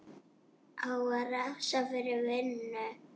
Á að refsa fyrir vinnu?